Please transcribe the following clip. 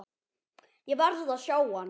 Ég verð að sjá hann.